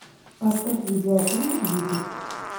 поставь видеофильм дикость